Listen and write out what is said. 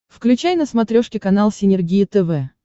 включай на смотрешке канал синергия тв